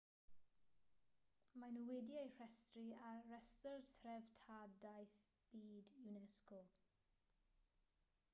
maen nhw wedi eu rhestru ar restr treftadaeth byd unesco